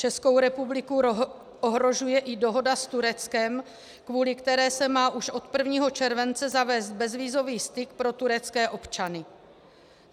Českou republiku ohrožuje i dohoda s Tureckem, kvůli které se má už od 1. července zavést bezvízový styk pro turecké občany.